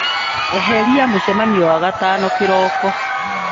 Eheria mũcemanio wa wagatano kĩroko.